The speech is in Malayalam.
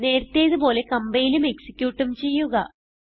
നേരത്തേതു പോലെ കംപൈലും എക്സിക്യൂട്ടും ചെയ്യുക